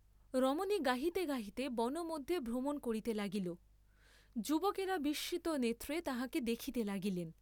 রমণী গাহিতে গাহিতে বন মধ্যে ভ্রমণ করিতে লাগিল, যুবকেরা বিস্মিত নেত্রে তাহাকে দেখিতে লাগিলেন।